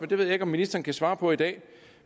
det ved jeg ikke om ministeren kan svare på i dag